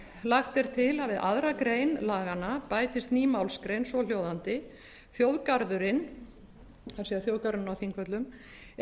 lagt er til að við aðra grein laganna bætist ný málsgrein svohljóðandi þjóðgarðurinn það er þjóðgarðurinn á þingvöllum er að